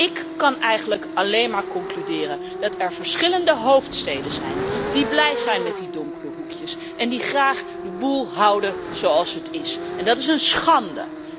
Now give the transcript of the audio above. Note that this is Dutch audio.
Ik kan eigenlijk alleen maar concluderen dat er verschillende hoofdsteden zijn die blij zijn met die donkere hoekjes en die graag de boel houden zoals het is, en dat is een schande.